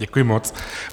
Děkuji moc.